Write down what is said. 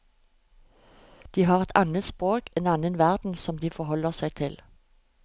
De har et annet språk, en annen verden som de forholder seg til.